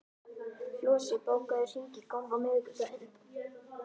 Flosi, bókaðu hring í golf á miðvikudaginn.